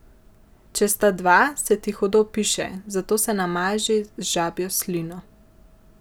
Če sta dva, se ti hudo piše, zato se namaži z žabjo slino.